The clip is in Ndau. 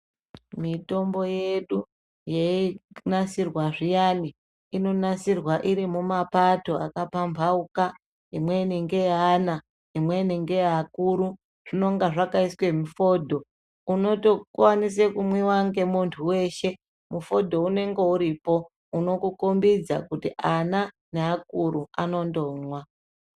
Mitombo yedu yeinasirwa zviyani inonasirwa iri mumapato akapambauka. Imweni ngeye ana, imweni ngeye akuru zvinonga zvakaiswe mufodho unotokwanise kumwiwa ngemuntu veshe. Mufodho unonge uripo unokukombidza kuti ana neakuru anandomwa.